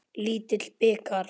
Lítill bikar.